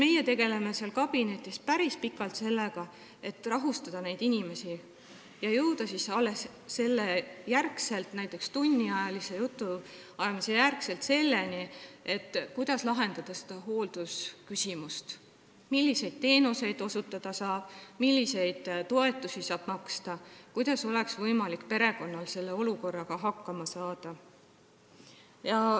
Siis tegeleme meie päris pikalt sellega, et inimest rahustada, ja alles näiteks tunniajalise jutuajamise järel jõuame selleni, kuidas lahendada seda hooldusküsimust, selgitada, milliseid teenuseid saab osutada, milliseid toetusi saab maksta ja kuidas oleks perekonnal võimalik selle olukorraga hakkama saada.